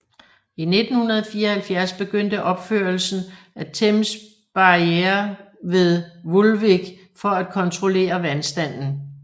I 1974 begyndte opførelsen af Thames Barrier ved Woolwich for at kontrollere vandstanden